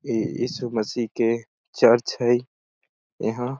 ए यीसु मसी के चर्च है एहा--